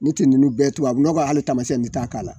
Ne te ninnu bɛɛ tu a b'i n'a kɔ hali taamasiyɛn ne t'a k'a la.